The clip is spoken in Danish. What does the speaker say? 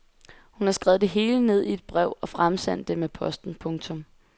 Hun har skrevet det hele ned i et brev og fremsendt det med posten. punktum